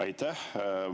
Aitäh!